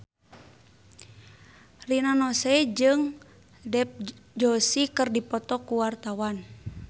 Rina Nose jeung Dev Joshi keur dipoto ku wartawan